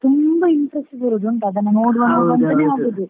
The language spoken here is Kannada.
ತುಂಬಾ interest ಬರುದಾಂತ ಅದನ್ನ ನೋಡ್ವ ನೋಡ್ವ ಅಂತ.